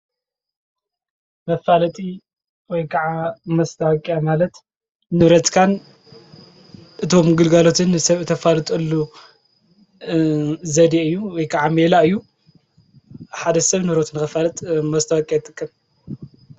መፋለጢ ወይ ከዓ ማስታወቂያ ማለት ንብረትካን እቶም ግልጋሎትን ንስብ ተፉልጠሉ ዜዴ ወይ ከዓ ሜላ ማለት እዩ። ሓደ ስብ ንብረቱ ንክፊልጥ ማስታወቂያ ይጥቀም።